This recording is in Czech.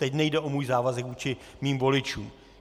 Teď nejde o můj závazek vůči mým voličům.